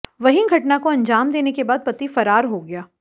वहीं घटना को अंजाम देने के बाद पति फरार हो गया